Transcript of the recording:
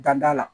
Dada la